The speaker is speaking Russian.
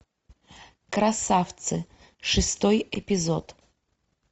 красавцы шестой эпизод